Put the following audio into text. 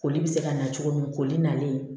Koli bɛ se ka na cogo min koli nalen